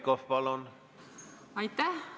Aitäh!